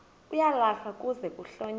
uyalahlwa kuze kuhlonyelwe